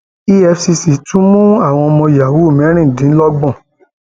efcc tún mú àwọn ọmọ yahoo mẹrìndínlọgbọn